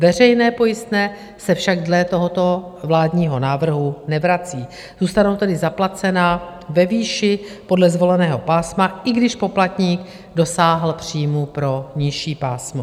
Veřejná pojistná se však dle tohoto vládního návrhu nevrací, zůstanou tedy zaplacena ve výši podle zvoleného pásma, i když poplatník dosáhl příjmů pro nižší pásmo.